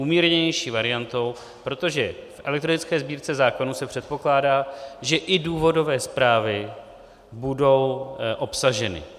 Umírněnější variantou, protože v elektronické Sbírce zákonů se předpokládá, že i důvodové zprávy budou obsaženy.